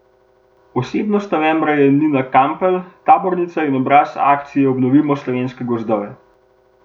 Osebnost novembra je Nina Kapelj, tabornica in obraz akcije Obnovimo slovenske gozdove.